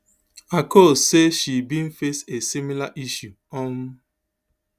akol say she bin face a similar issue um